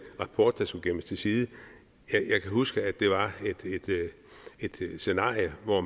rapport der skulle gemmes til side jeg kan huske at det var et scenarie hvor